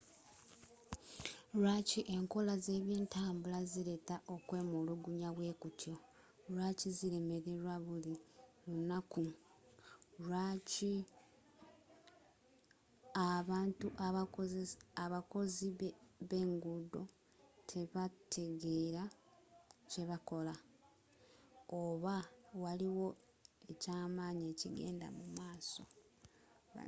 lwaaki enkola z'ebyentambula zileeta okwemulugunya bwekutyo lwaki zilemelerwa buli lunaku oba abakozi b'enguudo tebategeera kyebakola oba waliwo ekyamaanyi ekigenda mumaaso